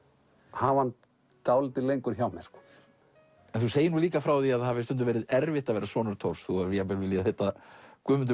hafa hann dálítið lengur hjá mér þú segir líka frá því að það hafi stundum verið erfitt að vera sonur Thors þú hafir jafnvel viljað heita Guðmundur